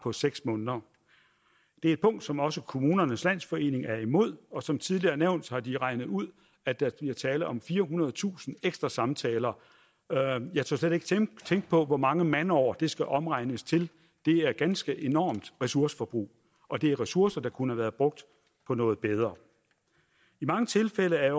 seks måneder det er et punkt som også kommunernes landsforening er imod og som tidligere nævnt har de regnet ud at der bliver tale om firehundredetusind ekstra samtaler jeg tør slet ikke tænke på hvor mange mandeår det skal omregnes til det er et ganske enormt ressourceforbrug og det er ressourcer der kunne have været brugt på noget bedre i mange tilfælde er